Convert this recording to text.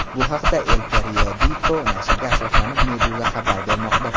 Bu haqda El Periodico nashriga asoslanib, Meduza xabar bermoqda .